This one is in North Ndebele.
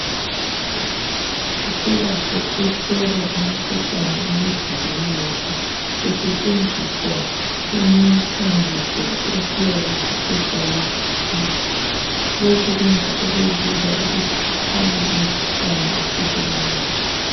Siselakho ukuhlolwa imikhuhlane emizimbeni yethu kusetshenziswa imithambiso esiyabe sithe sayikhipha. Lokhu kwenza kube lula ukuthi kukhanye imikhuhlane esibulalayo .